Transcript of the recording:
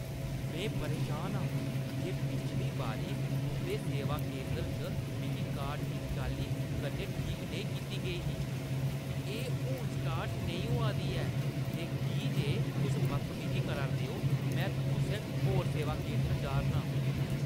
में परेशान आं जे पिछली बारी तुंʼदे सेवा केंदर च मेरी कार ठीक चाल्ली कन्नै ठीक नेईं कीती गेई ही। एह् हून स्टार्ट नेईं होआ दी ऐ ते की जे तुस बदतमीजी करा 'रदे ओ, में कुसै होर सेवा केंदर जा' रना आं।